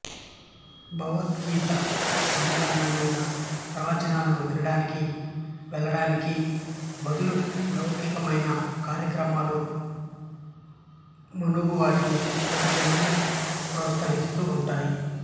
భగవత్సంబంధమయిన ప్రవచనములను వినడానికి వెళ్ళడానికి బదులు లౌకికమయిన కార్యక్రమములు మున్నగువాటిని చూడమని ప్రోత్సహిస్తూ ఉంటాయి